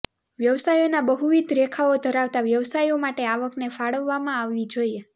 વ્યવસાયોના બહુવિધ રેખાઓ ધરાવતા વ્યવસાયો માટે આવકને ફાળવવામાં આવવી જોઈએ